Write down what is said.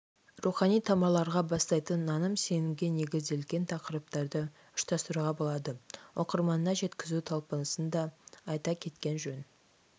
рухани тамырларға бастайтын наным-сенімге негізделген тақырыптарды ұшырастыруға болады оқырманына жеткізу талпынысын да айта кеткен жөн